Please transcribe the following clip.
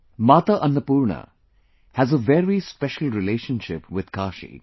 Mata Annapoorna has a very special relationship with Kashi